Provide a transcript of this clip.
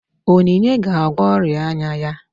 Onyinye ga-agwọ ọrịa anya ya